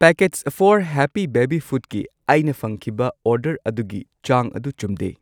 Packets for happy baby ꯐꯨꯗꯀꯤ ꯑꯩꯅ ꯐꯪꯈꯤꯕ ꯑꯣꯔꯗꯔ ꯑꯗꯨꯒꯤ ꯆꯥꯡ ꯑꯗꯨ ꯆꯨꯝꯗꯦ꯫